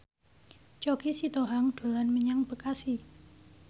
Choky Sitohang dolan menyang Bekasi